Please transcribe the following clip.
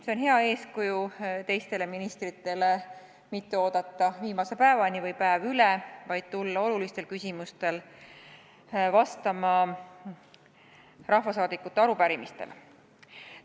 See on hea eeskuju teistele ministritele – mitte oodata viimase päevani või päev kauem, vaid tulla olulistele küsimustele, rahvasaadikute arupärimistele vastama võimalikult vara.